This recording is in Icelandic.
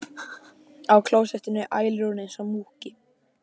Og á klósettinu ælir hún einsog múkki.